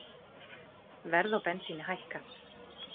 Verð á bensíni hækkað